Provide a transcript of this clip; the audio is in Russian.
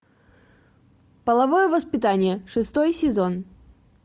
половое воспитание шестой сезон